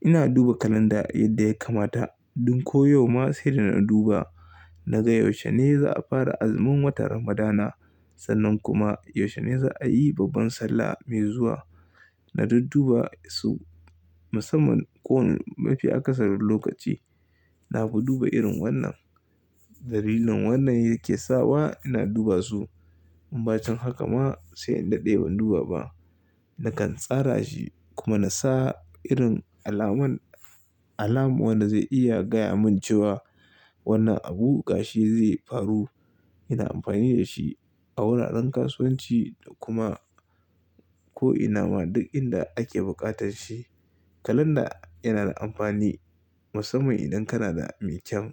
Ina duba kalanda yadda ya kamata. Dun ko yau ma sai da na duba naga yaushe ne za a fara azumin watan Ramadana sannan kuma yaushe ne za a yi babban Sallah mai zuwa. Na duba su musamman ko mafi akasarin lokaci na fi duba irin wannan. Dalilin wannan yake sawa ina duba su in ba can haka ma sai in daɗe ban duba ba. Nakan tsara shi kuma na sa irin alaman, alam wanda zai iya gaya mun cewa wannan abu gashi zai faru. Ina amfani da shi a wuraren kasuwanci da kuma ko ina ma duk inda ake buƙatar shi. Kalanda yana da amfani musamman idan kana da me kyam.